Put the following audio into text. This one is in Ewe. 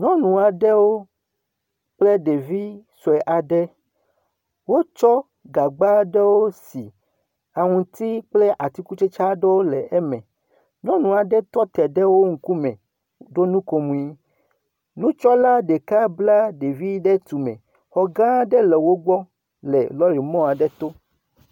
Nyɔnu aɖewo kple ɖevi sue aɖe. wotsɔ gagba aɖewo si aŋutsi kple atikutsetse aɖewo le eme. Nyɔnu aɖe tɔte ɖe wo ŋku me ɖo nukomo. Nutsɔla ɖeka bla ɖevi ɖe tume. Xɔ gã aɖe le wogbɔ le lɔri mɔa aɖe to.